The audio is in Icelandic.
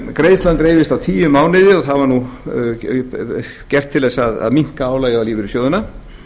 greiðslan dreifist á tíu mánuði og það var gert til þess að minnka álagið á lífeyrissjóðina